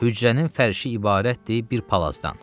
Hücrənin fərşi ibarətdir bir palazdan.